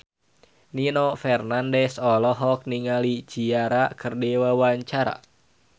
Nino Fernandez olohok ningali Ciara keur diwawancara